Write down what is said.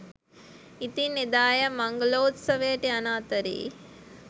ඉතින් එදා ඇය මංගලෝත්සවයට යන අතරේ